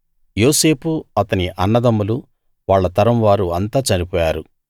యోసేపు అతని అన్నదమ్ములు వాళ్ళ తరం వారు అంతా చనిపోయారు